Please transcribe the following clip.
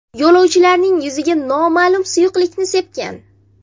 yo‘lovchilarning yuziga noma’lum suyuqlikni sepgan.